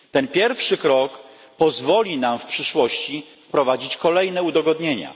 Ten pierwszy krok pozwoli nam w przyszłości wprowadzić kolejne udogodnienia.